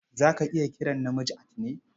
Za ka iya kiran namiji Altine.